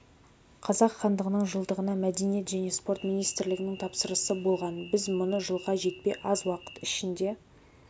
қазақ хандығының жылдығына мәдениет және спорт министрлігінің тапсырысы болған біз мұны жылға жетпей аз уақыт ішінде